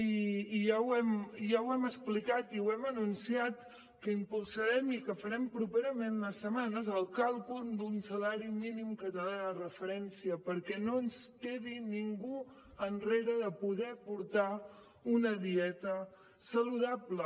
i ja ho hem explicat i ho hem anunciat que impulsarem i que farem properament en unes setmanes el càlcul d’un salari mínim català de referència perquè no es quedi ningú enrere de poder portar una dieta saludable